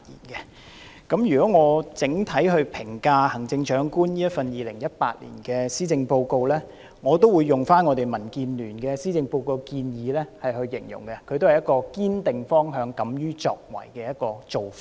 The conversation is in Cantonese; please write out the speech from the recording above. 如果要我整體評價行政長官2018年的施政報告，我會用我們民主建港協進聯盟對施政報告的期望來形容它，意即施政報告所提出的都是"堅定方向，敢於作為"的做法。